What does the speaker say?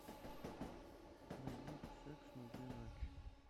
найди секс на две ночи